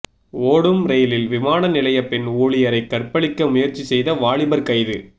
ஓடும் ரெயிலில் விமான நிலைய பெண் ஊழியரை கற்பழிக்க முயற்சி செய்த வாலிபர் கைது